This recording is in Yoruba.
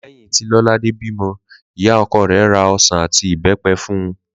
Lé̩yìn tí Ló̩ládé bímo̩, ìyá o̩ko̩ rè̩ ra o̩sàn àti ìbé̩pe̩ fun